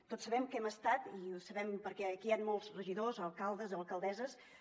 tots sabem que hem estat i ho sabem perquè aquí hi han molts regidors alcaldes i alcaldesses